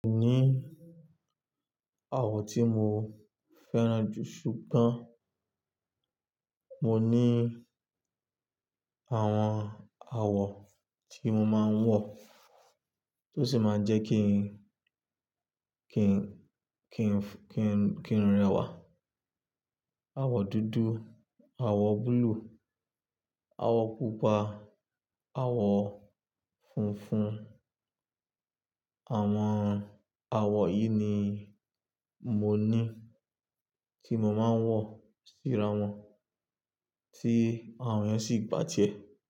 Kò ní àwo tí mo fẹ́ràn jù ṣùgbọ́n mo ní àwọn àwo tí mo máa ń wọ tó sì máa jẹ́ kí n, kí n, kí n, kí n, kí n rẹwà. Àwo dúdú, àwo búlúù, àwo pupa, àwo funfun. Àwọn àwo yìí ni mo ní tí mo máa ń wọ̀ síra wọn tí àwọn yẹn sì bà tiẹ́.